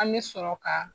An bɛ sɔrɔ ka